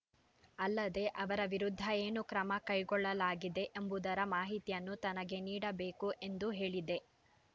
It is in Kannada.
ಅಲ್ಲದೆ ಅವರ ವಿರುದ್ಧ ಏನು ಕ್ರಮ ಕೈಗೊಳ್ಳಲಾಗಿದೆ ಎಂಬುದರ ಮಾಹಿತಿಯನ್ನು ತನಗೆ ನೀಡಬೇಕು ಎಂದು ಹೇಳಿದೆ